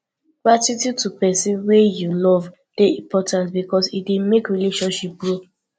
gratitude to persin wey you love de important because e de make relationship grow